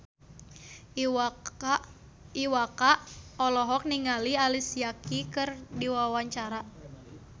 Iwa K olohok ningali Alicia Keys keur diwawancara